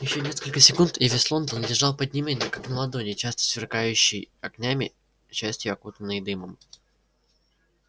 ещё несколько секунд и весь лондон лежал под ними как на ладони частью сверкающий огнями частью окутанный дымом